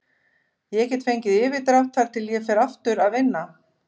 Ég get fengið yfirdrátt þar til ég fer aftur að vinna.